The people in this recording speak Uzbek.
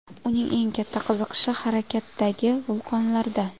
Uning eng katta qiziqishi harakatdagi vulqonlarda.